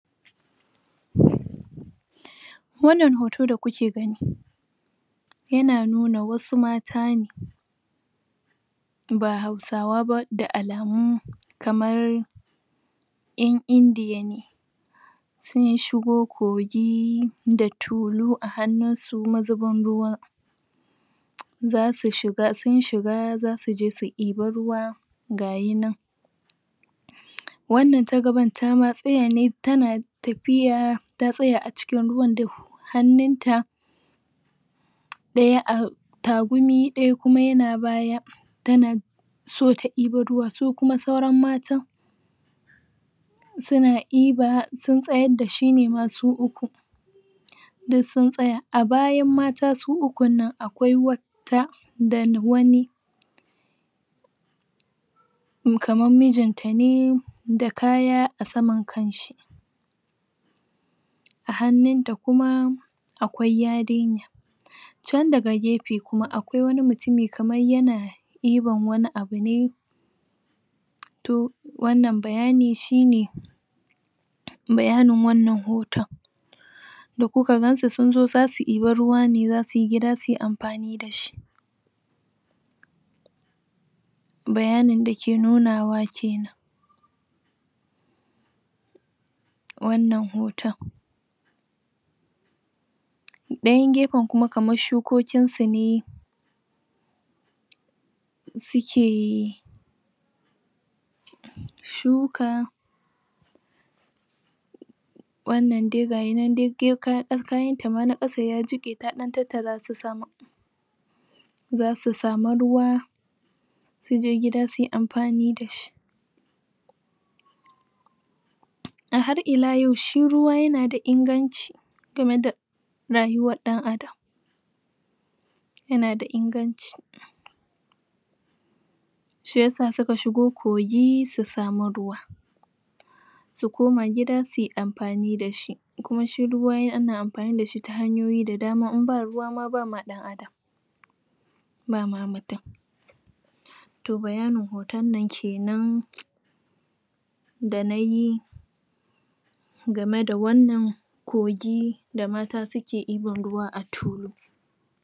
Wana hoto da kuke gani yana nuna wasu mata ne ba Hausawa ba da alami kamar yan India ne sun shigo kogi da tulu a hannu. su mazibin ruwa zasu shiga, sun shiga za su ji su ɗibe ruwa gayina wana ta gaban tama tsaya ne tana tafiya ta tsaya acikin ruwan da hannuta daya a tagume daya kuma yana baya tana so ta ɗibe ruwa su kuma sauran matan suna ɗiba sun tsayar dashi nema su uku duk sun tsaya,a bayan mata su ukuna akwai wata da wani kaman mijin ta ne da kaya a saman kanshi a hannuta da kuma akwai yarinya chan daga gefe kuma akwai wani mutumi kaman yana ɗiban wani abune toh wana bayani shine bayani wana hoton da kuka gansu sun zo zasu ɗiba ruwa ne zasu yi gida suyi amfani dashi bayani dake nuna wa kina wana hoton dayan gefen kuma kaman shukokin su ne sukee! shuka wanadai gayina dai kayan ta ma na kasa yajike ta tattara su sama zasu samu ruwa zu je gida suyi amfani da shi Ahar ila yau shi ruwa yana da inganci gama da Rayuwar dan adam yana da inganci shiyasa suka shigo kogi su samu ruwa su koma gida suyi amfani dashi kuma shi ruwa ana amfani dashi ta hanyoyin da dama in ba ruwa ma ba ma ba mamutum toh bayani hoton na kinan da nayi gamai da wana kogi da mata suke ɗiban ruwa a tulu